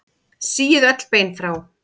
Síið öll bein frá.